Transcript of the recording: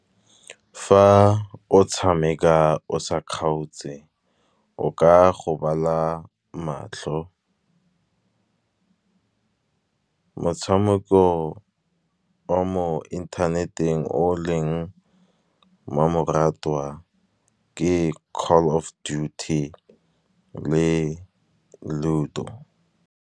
Fa o tshameka o sa kgaotse o ka gobala matlho. Motshameko ke mo internet-eng o leng mmamoratwa ke call of duty le ludo.